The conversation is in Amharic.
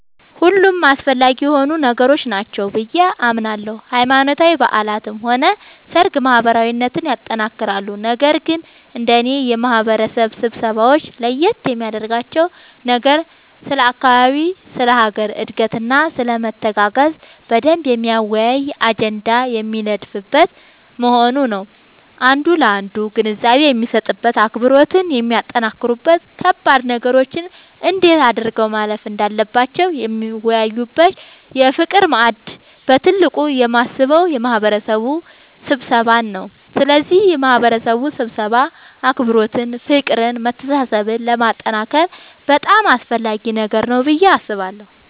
ሁሉም አስፈላጊ የሆኑ ነገሮች ናቸው ብዬ አምናለሁ ሃይማኖታዊ በዓላትም ሆነ ሰርግ ማህበራዊነትን ያጠነክራሉ ነገር ግን እንደኔ የማህበረሰብ ስብሰባወች ለየት የሚያደርጋቸው ነገር ስለ አካባቢ ስለ ሀገር እድገትና ስለመተጋገዝ በደንብ የሚያወያይ አጀንዳ የሚነደፍበት መሆኑ ነዉ አንዱ ላንዱ ግንዛቤ የሚሰጥበት አብሮነትን የሚያጠነክሩበት ከባድ ነገሮችን እንዴት አድርገው ማለፍ እንዳለባቸው የሚወያዩበት የፍቅር ማዕድ ብዬ በትልቁ የማስበው የማህበረሰብ ስብሰባን ነዉ ስለዚህ የማህበረሰብ ስብሰባ አብሮነትን ፍቅርን መተሳሰብን ለማጠንከር በጣም አስፈላጊ ነገር ነዉ ብዬ አስባለሁ።